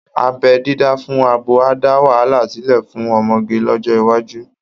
Abẹ́ dídá fún abo á dá wàhálà sílẹ̀ fún ọmọge lọ́jọ́ iwájú